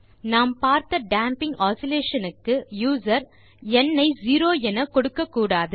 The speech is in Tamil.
நாம் பார்த்த டேம்பிங் ஆஸிலேஷன் க்கு யூசர் ந் ஐ 0 கொடுக்கக்கூடாது